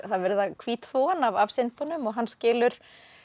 verið að hvítþvo hann af af syndunum og hann skilur